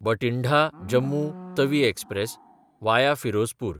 Bathinda-Jammu Tawi express (वाया Firozpur)